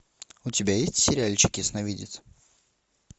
у тебя есть сериальчик ясновидец